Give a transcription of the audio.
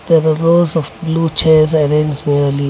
there are rows of blue chairs arranged.